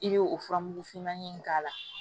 I bɛ o fura mugu fimanin in k'a la